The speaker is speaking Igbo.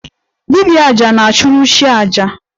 Dibia 'aja' na-achụrụ chi aja